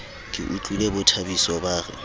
ke utlwile bothabiso ba re